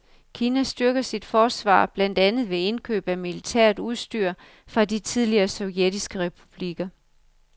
Kina styrker sit forsvar blandt andet ved indkøb af militært udstyr fra de tidligere sovjetiske republikker.